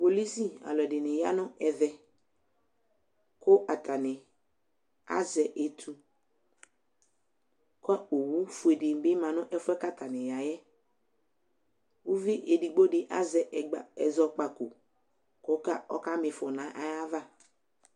kpolisi aluedini yɑneve ku ɑtani azɛ ɛtu kɔ owufuedibi mɑnefue kataniyae uvi ɛdigbodi ɑze ɛzɔkpako kɔkamifɔ nayava